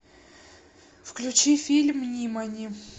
включи фильм нимани